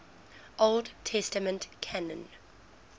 old testament canon